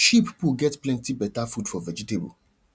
sheep poo get plenty better food for vegetable